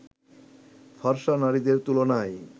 ফর্সা নারীদের তুলনায়